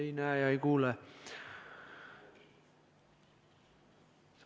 Ei näe ja ei kuule.